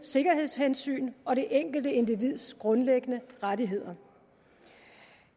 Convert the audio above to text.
sikkerhedshensyn og det enkelte individs grundlæggende rettigheder